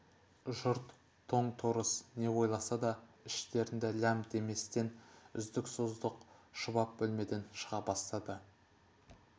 жұрт тоң-торыс не ойласа да іштерінде ләм деместен үздік-создық шұбап бөлмеден шыға бастады